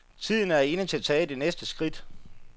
Tiden er inde til at tage det næste skridt.